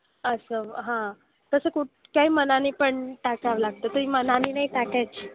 असं हां. तसं कुठ काही मनाने पण टाकावं लागतं. ते मनाने नाही टाकायची.